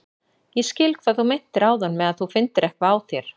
Ég skil hvað þú meintir áðan með að þú finndir eitthvað á þér.